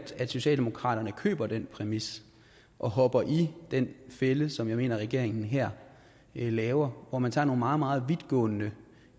at socialdemokratiet køber den præmis og hopper i den fælde som jeg mener regeringen her laver hvor man tager nogle meget meget vidtgående